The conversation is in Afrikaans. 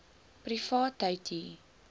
privaatheidu